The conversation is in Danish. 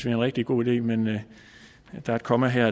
en rigtig god idé men at der er et komma her